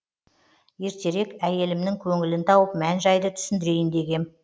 ертерек әйелімнің көңілін тауып мән жайлы түсіндірейін дегем